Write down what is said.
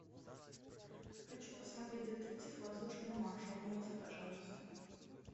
хочу посмотреть детектив воздушный маршал найди пожалуйста